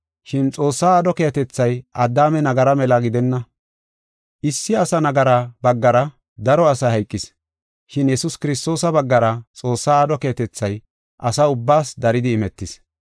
Shin Xoossaa aadho keehatethay Addaame nagaraa mela gidenna. Issi asa nagara baggara daro asay hayqis. Shin Yesuus Kiristoosa baggara Xoossaa aadho keehatethay asa ubbaas daridi imetis.